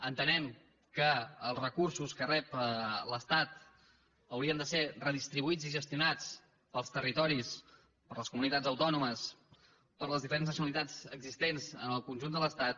entenem que els recursos que rep l’estat haurien de ser redistribuïts i gestionats pels territoris per les comunitats autònomes per les diferents nacionalitats existents en el conjunt de l’estat